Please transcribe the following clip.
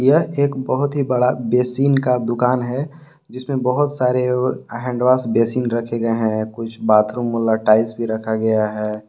यह एक बहुत ही बड़ा बेसिन का दुकान है जिसमें बहुत सारे और हैंडवाश बेसिन रखे गए हैं कुछ बाथरूम वाला टाइल्स भी रखा गया है।